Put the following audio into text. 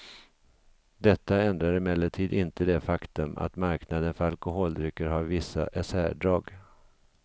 Detta ändrar emellertid inte det faktum att marknaden för alkoholdrycker har vissa särdrag.